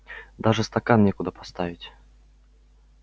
даже стакан некуда поставить